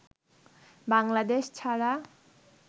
বাংলাদেশ ছাড়া